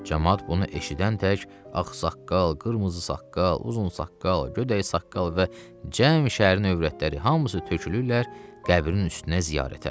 Camaat bunu eşidən tək ağsaqqal, qırmızı saqqal, uzun saqqal, gödək saqqal və cəmi şəhərin övrətləri hamısı tökülürlər qəbrin üstünə ziyarətə.